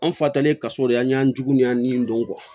An fa talen kaso de an y'an jugu y'an ni don